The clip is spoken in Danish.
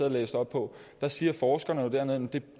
og læst op på siger forskerne dernede at det